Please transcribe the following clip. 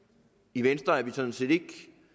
i venstre er vi sådan set ikke